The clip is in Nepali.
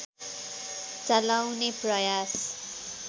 चलाउने प्रयास